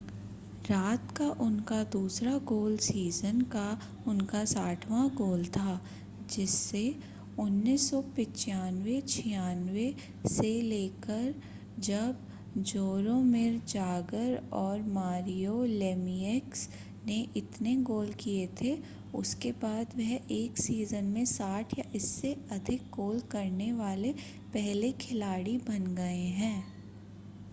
रात का उनका दूसरा गोल सीज़न का उनका 60वां गोल था जिससे 1995-96 से लेकरजब जोरोमिर जागर और मारियो लेमिएक्स ने इतने गोल किए थे उसके बाद वह एक सीज़न में 60 या इससे अधिक गोल करने वाले पहले खिलाड़ी बन गए हैं